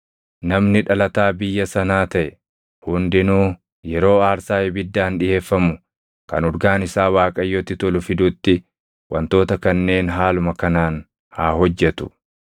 “ ‘Namni dhalataa biyya sanaa taʼe hundinuu yeroo aarsaa ibiddaan dhiʼeeffamu kan urgaan isaa Waaqayyotti tolu fidutti wantoota kanneen haaluma kanaan haa hojjetu.